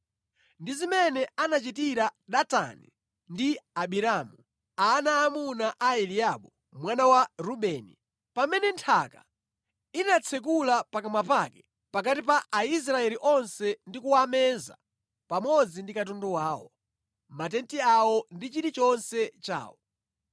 ndi zimene anachitira Datani ndi Abiramu, ana aamuna a Eliabu mwana wa Rubeni, pamene nthaka inatsekula pakamwa pake pakati pa Aisraeli onse ndi kuwameza pamodzi ndi katundu wawo, matenti awo ndi chilichonse chawo.